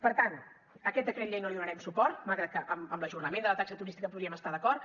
per tant a aquest decret llei no li donarem suport malgrat que amb l’ajornament de la taxa turística hi podríem estar d’acord